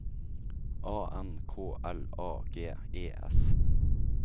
A N K L A G E S